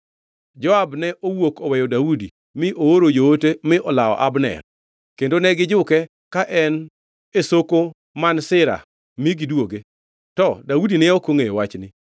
Joab ne owuok oweyo Daudi mi ooro joote mi olawo Abner, kendo ne gijuke ka en e soko man Sira mi giduoge. To Daudi ne ok ongʼeyo wachni.